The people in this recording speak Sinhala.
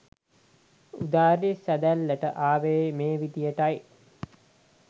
උදාරි සැඳැල්ලට ආවේ මේ විදියටයි.